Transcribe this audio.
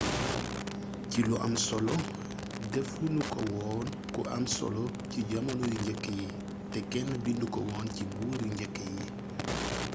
ci lu am solo defu nu ko woon ku am solo ci jamono yu njëkk yi te kenn bindu ko woon ci limu buur yu njëkk yi